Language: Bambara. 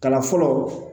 Kalan fɔlɔ